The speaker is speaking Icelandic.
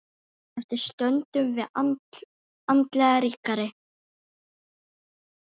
Eftir stöndum við andlega ríkari.